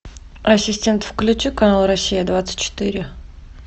ассистент включи канал россия двадцать четыре